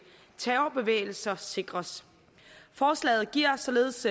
terrorbevægelser sikres forslaget giver således